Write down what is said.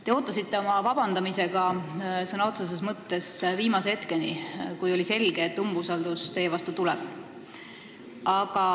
Te ootasite oma vabandamisega sõna otseses mõttes viimase hetkeni, kui oli selge, et umbusaldusavaldus teie vastu tuleb.